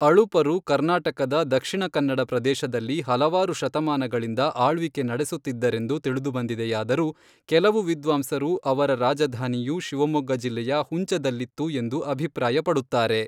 ಅಳುಪರು ಕರ್ನಾಟಕದ ದಕ್ಷಿಣ ಕನ್ನಡ ಪ್ರದೇಶದಲ್ಲಿ ಹಲವಾರು ಶತಮಾನಗಳಿಂದ ಆಳ್ವಿಕೆ ನಡೆಸುತ್ತಿದ್ದರೆಂದು ತಿಳಿದುಬಂದಿದೆಯಾದರೂ, ಕೆಲವು ವಿದ್ವಾಂಸರು ಅವರ ರಾಜಧಾನಿಯು ಶಿವಮೊಗ್ಗ ಜಿಲ್ಲೆಯ ಹುಂಚದಲ್ಲಿತ್ತು ಎಂದು ಅಭಿಪ್ರಾಯ ಪಡುತ್ತಾರೆ.